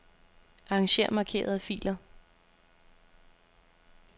Arranger markerede filer.